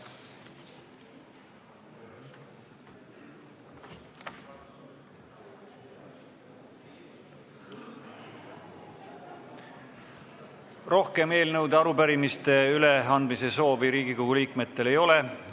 Rohkem eelnõude ja arupärimiste üleandmise soovi Riigikogu liikmetel ei ole.